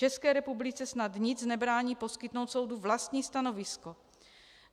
České republice snad nic nebrání poskytnout soudu vlastní stanovisko.